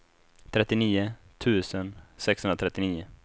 trettionio tusen sexhundratrettionio